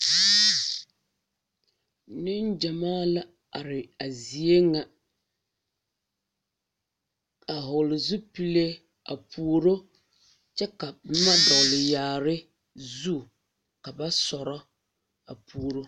Niŋgyamaa la are a zie ŋa a vɔgle zupile a puoro kyɛ ka boma a dɔgle yaare zu ka ba sɔrɔ a puoro.